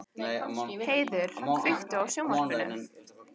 Heiður, kveiktu á sjónvarpinu.